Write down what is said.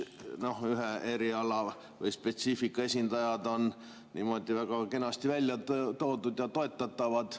Siin on ühe eriala või ühe spetsiifika esindajad niimoodi väga kenasti välja toodud ja toetatud.